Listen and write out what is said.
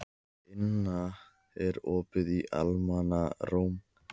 Inna, er opið í Almannaróm?